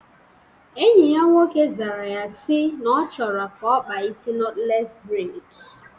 Enyi ya nwoke zara ya si na ọ chọrọ ka ọ kpaa isi nọtlees breid